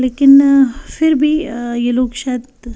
लेकिन अ फिर भी अ ये लोग शायद--